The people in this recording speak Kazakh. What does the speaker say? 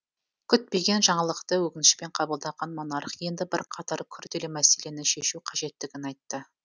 күтпеген жаңалықты өкінішпен қабылдаған монарх енді бірқатар күрделі мәселені шешу қажеттігін айтты